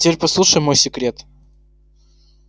а теперь послушай мой секрет